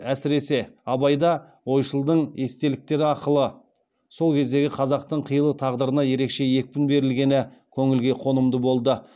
әсіресе абайда ойшылдың естеліктері арқылы сол кездегі қазақтың қилы тағдырына ерекше екпін берілгені көңілге қонымды болды